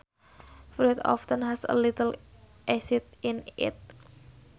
Fruit often has a little acid in it